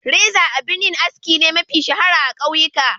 Reza abar yin aski ce mafi shahara a kauyuka.